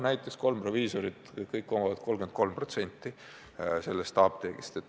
Näiteks kolm proviisorit omavad igaüks 33% apteegist.